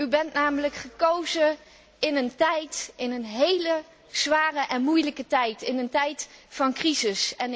U bent namelijk gekozen in een hele zware en moeilijke tijd, in een tijd van crisis.